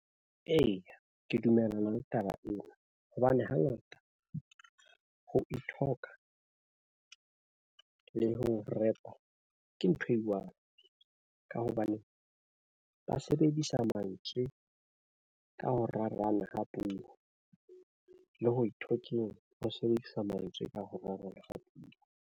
Eya, ke dumellana le taba ena hobane hangata ho ithoka le ho rekwa ke ntho e one, ka hobane ba sebedisa mantswe ka ho rarana ka puo le ho ithokeng ho sebedisa mantswe ka ho .